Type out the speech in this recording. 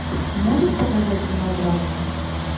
можешь показать мелодраму